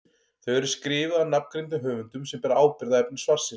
Þau eru skrifuð af nafngreindum höfundum sem bera ábyrgð á efni svarsins.